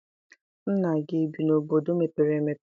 Nna gị ebi n'obodo mepere emepe?